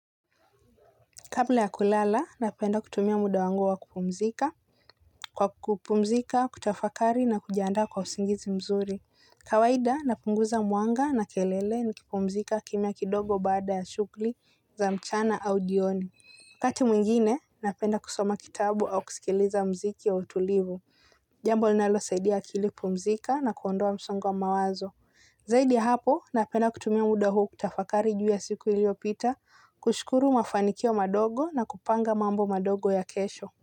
Kabla ya kulala, napenda kutumia muda wangu wa kupumzika. Kwa kupumzika, kutafakari na kujiandaa kwa usingizi mzuri. Kawaida, napunguza mwanga na kelele nikipumzika kimia kidogo baada ya shughuli za mchana au jioni. Kati mwingine, napenda kusoma kitabu au kusikiliza mziki ya utulivu. Jambo linalosaidia kupumzika na kuondoa msongo wa mawazo. Zaidi hapo napenda kutumia muda huu kutafakari juu ya siku iliyopita kushukuru mafanikio madogo na kupanga mambo madogo ya kesho.